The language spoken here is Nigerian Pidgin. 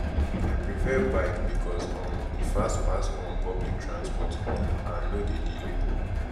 i prefer bike because um e fast pass um public transport um and no dey delay